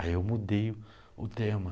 Aí eu mudei o o tema.